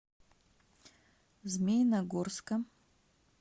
змеиногорска